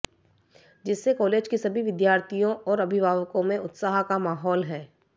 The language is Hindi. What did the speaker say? जिससे कॉलेज के सभी विद्यार्थियों और अभिभावकों में उत्साह का माहौल है